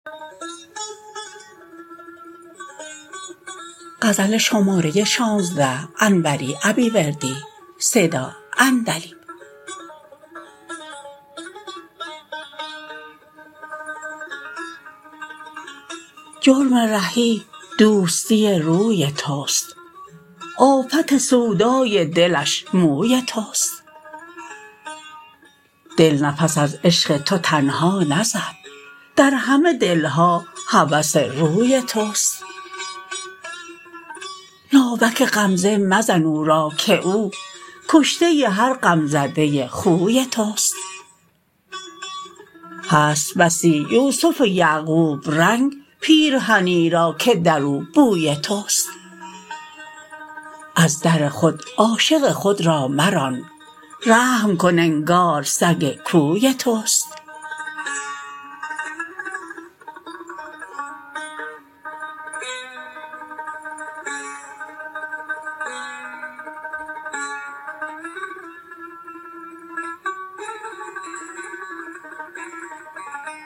جرم رهی دوستی روی تست آفت سودای دلش موی تست دل نفس از عشق تو تنها نزد در همه دلها هوس روی تست ناوک غمزه مزن او را که او کشته هر غم زده خوی تست هست بسی یوسف یعقوب رنگ پیرهنی را که درو بوی تست از در خود عاشق خود را مران رحم کن انگار سگ کوی تست